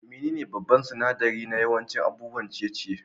Menene babban sinadari na yawancin abubuwan ciye-ciye?